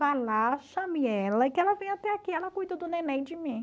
Vai lá, chame ela, que ela vem até aqui, ela cuida do neném de mim.